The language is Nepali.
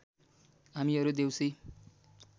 हामीहरू देउसी